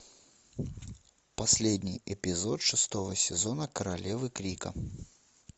последний эпизод шестого сезона королевы крика